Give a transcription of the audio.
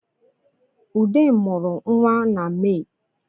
Ude mụrụ nwa na Mee